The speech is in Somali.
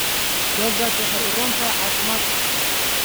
Yogurtu waxay u roon tahay caafimaadka.